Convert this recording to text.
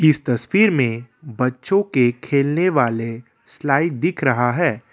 इस तस्वीर में बच्चों के खेलने वाले स्लाइ दिख रहा है।